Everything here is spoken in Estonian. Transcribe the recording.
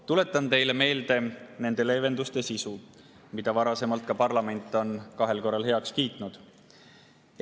Tuletan teile meelde nende leevenduste sisu, mille parlament on kahel korral heaks kiitnud.